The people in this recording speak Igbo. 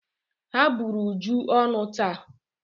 Ha bụrụ Uju ọnụ taa.